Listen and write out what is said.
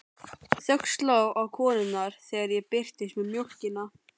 Þögn sló á konurnar þegar ég birtist með mjólkina.